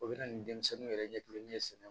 O bɛ na ni denmisɛnninw yɛrɛ ɲɛkili ye sɛnɛ